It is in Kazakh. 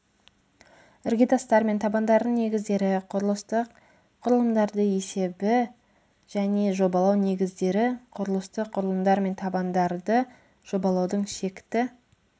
іргетастар мен табандардың негіздері құрылыстық құрылымдарды есебі және жобалау негіздері құрылыстық құрылымдар мен табандарды жобалаудың шекті